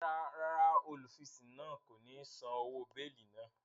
Ràrá, olufisun náà ko ni sàn òwò beeli náà